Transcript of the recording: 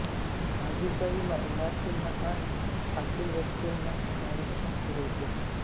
आगीचा विमा इमारतींना आणि आतील वस्तूंना संरक्षण पुरवतो